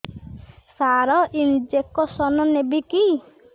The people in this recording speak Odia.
ସାର ଇଂଜେକସନ ନେବିକି